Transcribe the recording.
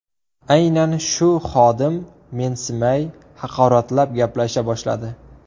Aynan shu xodim mensimay, haqoratlab gaplasha boshladi.